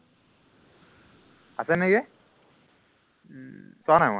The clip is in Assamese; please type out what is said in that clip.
আছে নিকি উম চোৱা নাই মই